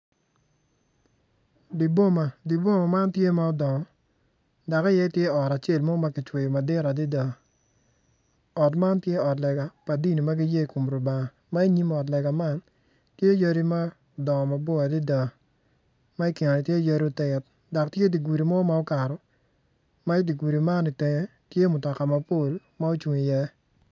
Di boma di boma man tye ma odongo dok iye tye ot acel ma kicweyo madit adada ot man tye ot lega pa dini ma giye i kom Lubanga ma i nyim ot lega man tye yadi ma odongo mapol adada ma i kine tye yadi otit dok ki i kine tye yo mo ma okato.